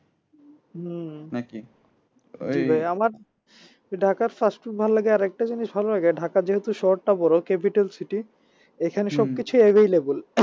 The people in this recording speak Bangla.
হুম ঢাকার fast food ভালো লাগে আরেকটা জিনিস ভালো লাগে ঢাকা যেহেতু শহরটা বড় capital city এখানে available